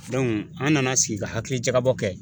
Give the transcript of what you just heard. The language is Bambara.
an nana sigi ka hakili jakabɔ kɛ.